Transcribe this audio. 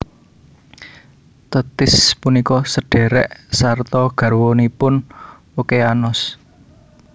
Tethis punika sedhèrèk sarta garwanipunOkeanos